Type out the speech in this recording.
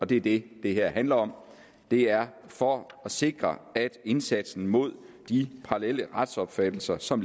det det her handler om det er for at sikre at indsatsen mod de parallelle retsopfattelser som